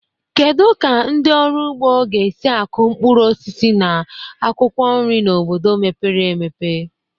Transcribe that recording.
Kedu ka ndị ọrụ ugbo ga-esi akụ mkpụrụ osisi na akwụkwọ nri na obodo mepere emepe?